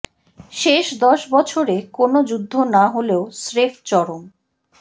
শেষ দশ বছরে কোনও যুদ্ধ না হলেও স্রেফ চরম